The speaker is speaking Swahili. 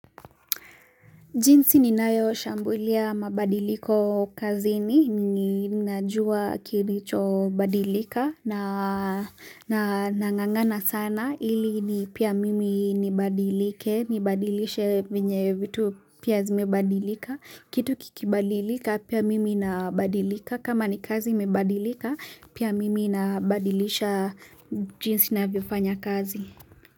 Jinsi ninayo shambulia mabadiliko kazini ninajua kilicho badilika na na nangangana sana ili ni pia mimi nabadilike nabadilishe venye vitu pia zimebadilika kitu kikibadilika pia mimi nabadilika kama ni kazi imebadilika pia mimi nabadilisha jinsi navyofanya kazi.